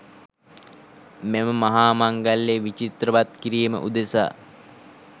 මෙම මහා මංගල්‍යය විචිත්‍රවත් කිරීම උදෙසා